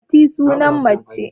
Fatima sunan mace